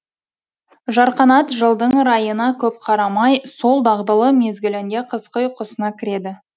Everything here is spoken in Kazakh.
жарқанат жылдың райына көп қарамай сол дағдылы мезгілінде қысқы ұйқысына кіреді